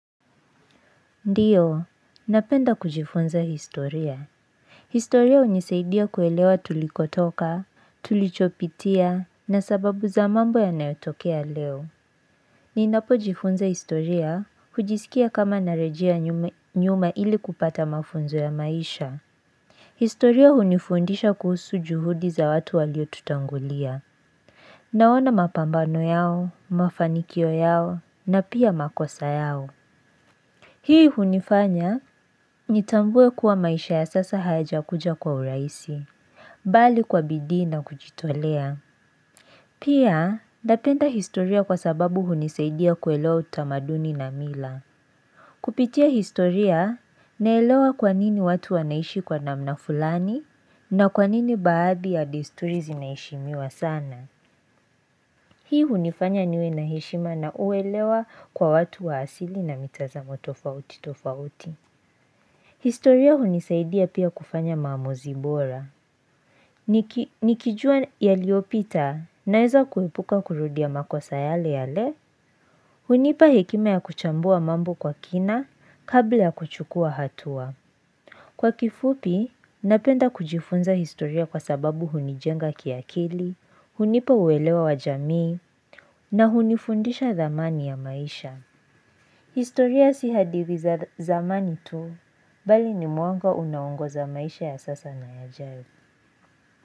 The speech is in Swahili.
Ndiyo, napenda kujifunza historia. Historia hunisaidia kuelewa tulikotoka, tulichopitia, na sababu za mambo yanayotokea leo. Ninapojifunza historia, hujisikia kama narejia nyuma ili kupata mafunzo ya maisha. Historia hunifundisha kuhusu juhudi za watu waliotutangulia. Naona mapambano yao, mafanikio yao, na pia makosa yao. Hii hunifanya, nitambue kuwa maisha ya sasa hayajakuja kwa urahisi, bali kwa bidii na kujitolea. Pia, napenda historia kwa sababu hunisaidia kuelewa utamaduni na mila. Kupitia historia, naelewa kwa nini watu wanaishi kwa namna fulani, na kwa nini baadhi ya desturi zinaheshimiwa sana. Hii hunifanya niwe na heshima na uelewa kwa watu wa asili na mitazamo tofauti tofauti. Historia hunisaidia pia kufanya maamuzi bora. Nikijua yaliyopita naeza kuepuka kurudia makosa yale yale. Hunipa hekima ya kuchambua mambo kwa kina kabla ya kuchukua hatua. Kwa kifupi, napenda kujifunza historia kwa sababu hunijenga kiakili, hunipa uelewa wa jamii na hunifundisha zamani ya maisha. Historia si hadithi za zamani tu bali ni mwanga unaongoza maisha ya sasa na yajayo.